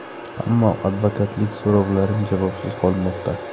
Ammo advokatlik so‘rovlarim javobsiz qolmoqda.